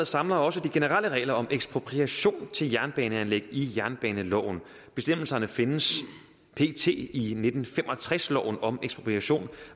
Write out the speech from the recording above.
samler også de generelle regler om ekspropriation til jernbaneanlæg i jernbaneloven bestemmelserne findes pt i nitten fem og tres loven om ekspropriation